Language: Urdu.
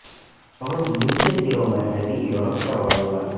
بہت نیچے سروں میں ہے بھی یورپ کا واویلا